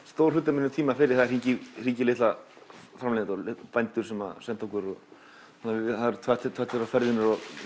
stór hluti af tímanum fer í að hringja í hringja í litla framleiðendur bændur sem senda okkur það eru tvær til þrjár ferðir